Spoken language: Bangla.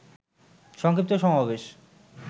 সংক্ষিপ্ত সমাবেশ